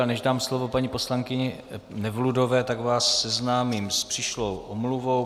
Ale než dám slovo paní poslankyni Nevludové, tak vás seznámím s přišlou omluvou.